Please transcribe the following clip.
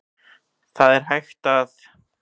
Þar er hægt að